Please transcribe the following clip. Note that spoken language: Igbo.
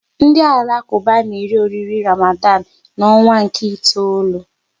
Ndị Alakuba na eri oriri Ramadan n'ọnwa nke itoolu